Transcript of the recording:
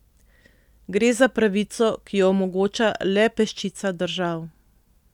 Gre za pravico, ki jo omogoča le peščica držav.